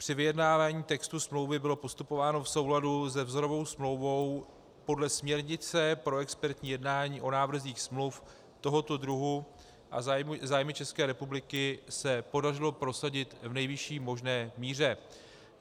Při vyjednávání textu smlouvy bylo postupováno v souladu se vzorovou smlouvou podle směrnice pro expertní jednání o návrzích smluv tohoto druhu a zájmy České republiky se podařilo prosadit v nejvyšší možné míře.